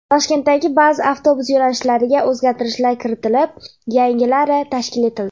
Toshkentdagi ba’zi avtobus yo‘nalishlariga o‘zgartirishlar kiritilib, yangilari tashkil etildi.